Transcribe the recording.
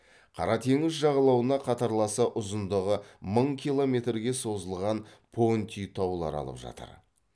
қара теңіз жағалауына қатарласа ұзындығы мың километрге созылған понти таулары алып жатыр